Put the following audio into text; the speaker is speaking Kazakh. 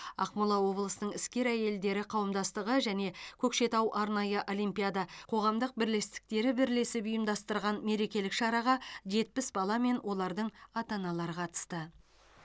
ақмола облысының іскер әйелдері қауымдастығы және көкшетау арнайы олимпиада қоғамдық бірлестіктері бірлесіп ұйымдастырған мерекелік шараға жетпіс бала мен олардың ата аналары қатысты